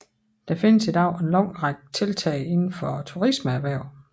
Der findes i dag en lang række tiltag indenfor turismeerhvervet